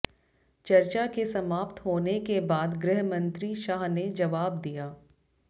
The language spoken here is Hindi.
चर्चा के समाप्त होने के बाद गृहमंत्री शाह ने जवाब दिया